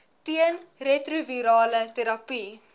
teen retrovirale terapie